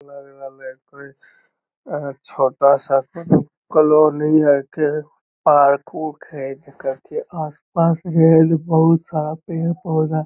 लग रहले कोई छोटा-सा कॉलोनी हेके पार्क ऊर्क हेय आस-पास रेल बहुत सारा पेड़ पौधा --